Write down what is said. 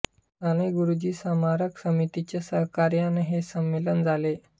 साने गुरुजी स्मारक समितीच्या सहकार्याने हे संमेलन झाले